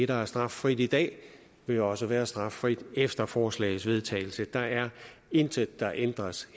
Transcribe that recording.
der er straffrit i dag vil også være straffrit efter forslagets vedtagelse der er intet der ændres